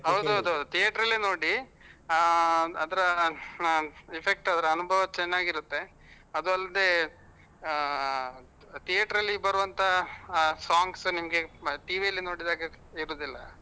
ಹೌದು ಹೌದು theater ನೋಡಿ ಹ ಅದರ effect ಅದರ ಅನುಭವ ಚೆನ್ನಾಗಿರುತ್ತೆ. ಅದು ಅಲ್ದೆ ಹ theater ಅಲ್ಲಿ ಬರುವಂತ songs ನಿಮ್ಗೆ TV ಅಲ್ಲಿ ನೋಡಿದಾಗೆ ಇರುದಿಲ್ಲ.